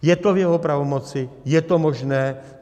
Je to v jeho pravomoci, je to možné.